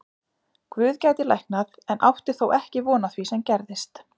Guð gæti læknað en átti þó ekki von á því sem gerðist.